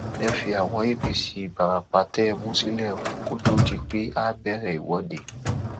ẹ fi àwọn apc ìfarapa tẹ ẹ mú sílẹ kó tóó di pé a bẹrẹ ìwọde